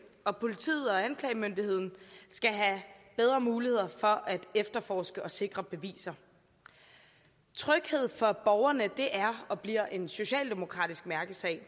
og politiet og anklagemyndigheden skal have bedre muligheder for at efterforske og sikre beviser tryghed for borgerne er og bliver en socialdemokratisk mærkesag